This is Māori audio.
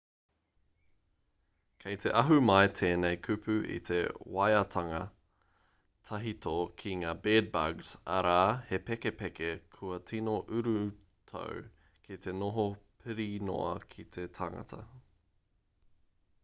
kei te ahu mai tēnei kupu i te waiatanga tahito ki ngā bed-bugs arā he pepeke kua tino urutau ki te noho pirinoa ki te tangata